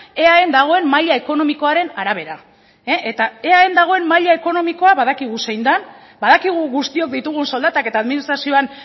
eaen dagoen maila ekonomikoaren arabera eta eaen dagoen maila ekonomikoa badakigu zein den badakigu guztiok ditugun soldatak eta administrazioan